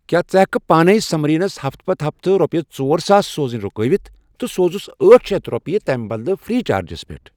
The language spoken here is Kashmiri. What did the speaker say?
کیا ژٕ ہیکِہ کھہ پانے سمریٖنَس ہفتہٕ پتہٕ ہفتہٕ رۄپیَس ژور ساس سوزٕنۍ رُکاوِتھ تہٕ سوزُس أٹھ شیتھ رۄپیہِ تٔمۍ بدلہٕ فرٛیی چارجَس پیٹھ؟